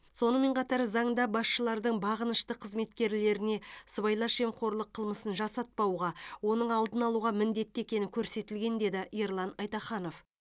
сонымен қатар заңда басшылардың бағынышты қызметкерлеріне сыбайлас жемқорлық қылмысын жасатпауға оның алдын алуға міндетті екені көрсетілген деді ерлан айтаханов